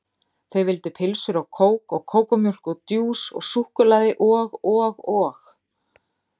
Þau vildu pylsur og kók og kókómjólk og djús og súkkulaði og og og